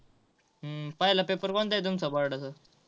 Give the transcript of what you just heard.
पहिलं paper कोणता आहे तुमचा BOARD चा?